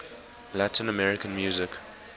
latin american music